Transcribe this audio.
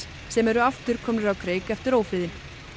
sem eru aftur komnir á kreik eftir ófriðinn